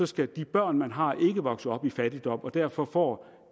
skal de børn man har ikke vokse op i fattigdom og derfor får